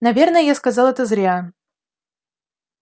наверное я сказал это зря